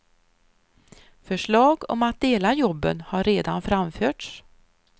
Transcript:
Förslag om att dela jobben har redan framförts.